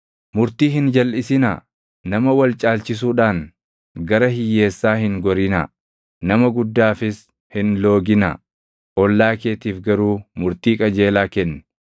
“ ‘Murtii hin jalʼisinaa; nama wal caalchisuudhaan gara hiyyeessaa hin gorinaa; nama guddaafis hin looginaa; ollaa keetiif garuu murtii qajeelaa kenni.